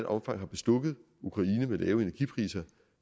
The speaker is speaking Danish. omfang har bestukket ukraine med lave energipriser